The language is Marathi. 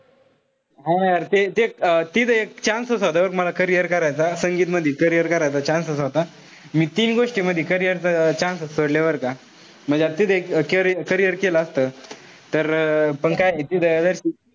हा ना यार ते जे अं तिथे chance होता मला बघ carrier करायचा. संगीत मधी carrier करायचा chance होता. मी तीन गोष्टीमधी carrier च chance सोडली बरं का. म्हणजे आता तिथे एक carrier केलं असत. तर पण काय तिथं,